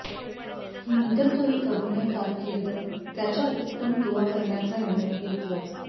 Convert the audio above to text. नंतर तो एक अभिनय कारकीर्द त्याच्या उपक्रम दुवा करण्याचा निर्णय घेतला